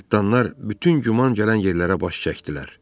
Cırtdanlar bütün güman gələn yerlərə baş çəkdilər.